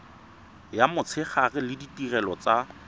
ya motshegare le ditirelo tsa